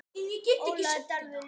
Ólafur Darri ljómar.